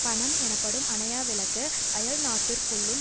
பணம் எனப்படும் அணையா விளக்கு அயல்நாட்டிற்குள்ளும்